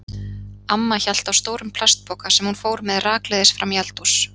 Amma hélt á stórum plastpoka sem hún fór með rakleiðis fram í eldhús.